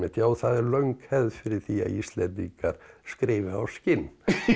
já það er löng hefð fyrir því að Íslendingar skrifi á skinn